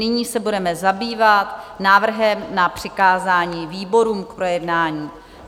Nyní se budeme zabývat návrhem na přikázání výborům k projednání.